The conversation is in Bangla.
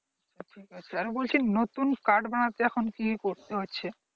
ঠিক আছে, আরে বলছি নতুন card বানাতে কি করতে হচ্ছে?